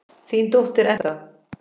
Þín dóttir, Edda.